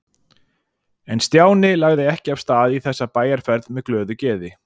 En Stjáni lagði ekki af stað í þessa bæjarferð með glöðu geði.